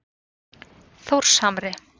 Þórshamri